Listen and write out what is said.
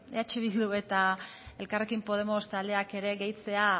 eh bildu eta elkarrekin podemos taldeak ere gehitzea